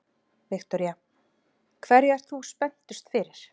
Viktoría: Hverju ert þú spenntust fyrir?